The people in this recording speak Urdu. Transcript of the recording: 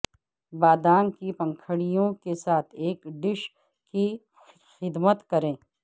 بادام کی پنکھڑیوں کے ساتھ ایک ڈش کی خدمت کریں